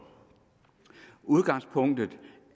udgangspunktet